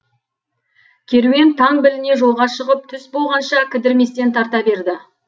керуен таң біліне жолға шығып түс болғанша кідірместен тарта берді